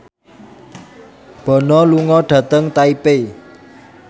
Bono lunga dhateng Taipei